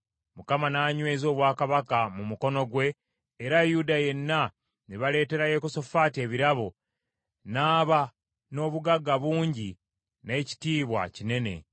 Mukama n’anyweza obwakabaka mu mukono gwe, era Yuda yenna ne baleetera Yekosafaati ebirabo, n’aba n’obugagga bungi n’ekitiibwa kinene.